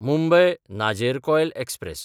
मुंबय–नाजेरकॉयल express